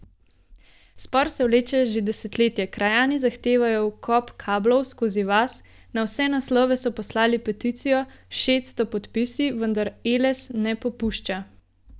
Spor se vleče že desetletje, krajani zahtevajo vkop kablov skozi vas, na vse naslove so poslali peticijo s šeststo podpisi, vendar Eles ne popušča.